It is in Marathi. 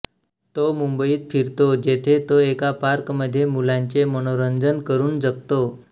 तो मुंबईत फिरतो जेथे तो एका पार्कमध्ये मुलांचे मनोरंजन करून जगतो